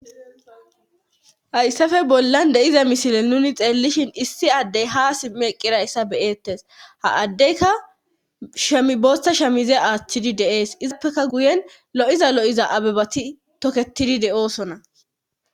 hayssafe bollan de7iza misile nuni xeellishin issi addey ha simmi eqqirayssa beyeettes ha addeyka shamiboosta shemize aaththidi deees izappeka guyen lo7iza lo7iza abebati tokketidi de7oosonna